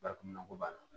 Bariko b'a la